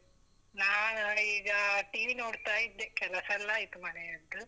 ನಾನ್ ಈಗಾ TV ನೋಡ್ತಾ ಇದ್ದೆ, ಕೆಲಸೆಲ್ಲಾ ಆಯ್ತು ಮನೆಯದ್ದು.